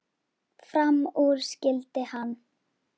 Fram úr skyldi hann.